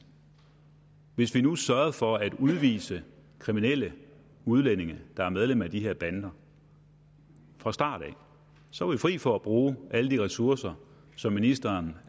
hvis vi nu sørgede for at udvise kriminelle udlændinge der er medlemmer af de her bander fra start af så var vi fri for at bruge alle de ressourcer som ministeren